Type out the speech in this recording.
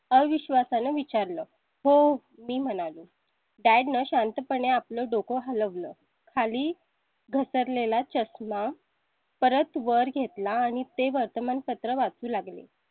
अविश्वासा नं विचारलं हो म्हणालो dad नं शांतपणे आपलं डोकं हलवलं खाली घसरले ला चष्मा परत वर घेतला आणि ते वर्तमानपत्र वाचू लागली.